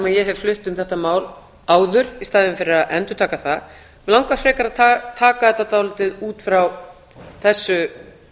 ég hef flutt um þetta mál áður í staðinn fyrir að endurtaka það mig langar að taka þetta dálítið út frá þessu